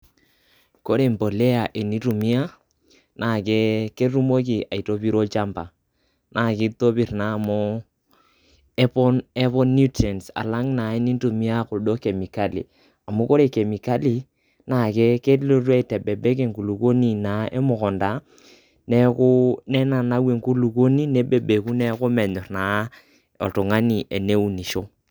Ore empolea teni ntumia na ke ketumoki aitopiro olchamba naa kitopir naa amu epon nutrients alang naa enintumia kuldo kemikali . amu re kemikali kelotu aitebebek enkulukuoni naa emukunda, neeku nenau enkuluoni neaku menyor naa.